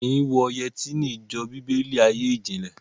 Wọn kì í wọ yẹtí ní ìjọ Bíbélì, ayé ìjìnlè